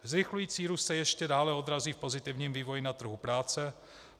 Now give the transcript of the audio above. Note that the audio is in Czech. Zrychlující růst se ještě dále odrazí v pozitivním vývoji na trhu práce.